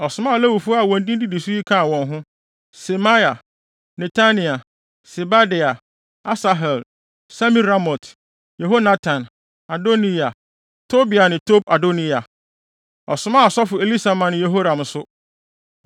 Ɔsomaa Lewifo a wɔn din didi so yi kaa wɔn ho: Semaia, Netania, Sebadia, Asahel, Semiramot, Yehonatan, Adoniya, Tobia ne Tob-Adoniya. Ɔsomaa asɔfo Elisama ne Yehoram nso.